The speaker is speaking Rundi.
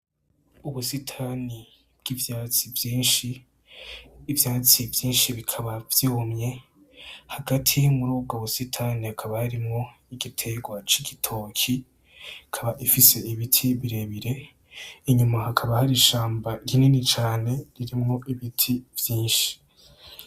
Ubusitani bw'ivyatsi vyinshi. Ivyatsi vyinshi bikaba vyumye; hagati murubwo busitani hakaba harimwo igitegwa c'igitoki ikaba ifise ibiti birebire inyuma hakaba hari ishamba rinini cane ririmwo ibiti vyinshi.